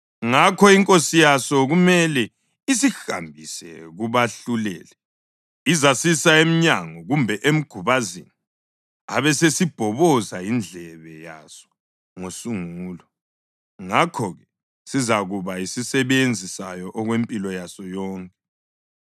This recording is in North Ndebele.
ngakho inkosi yaso kumele isihambise kubahluleli. Izasisa emnyango kumbe emgubazini abesesibhoboza indlebe yaso ngosungulo. Ngakho-ke sizakuba yisisebenzi sayo okwempilo yaso yonke.